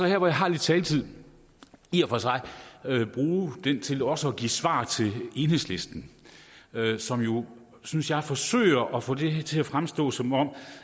her hvor jeg har lidt taletid i og for sig bruge den til også at give svar til enhedslisten som jo synes jeg forsøger at få det her til at fremstå som om